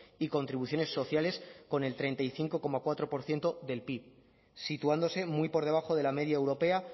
y contribuciones sociales con el treinta y cinco coma cuatro por ciento del pib situándose muy por debajo de la media europea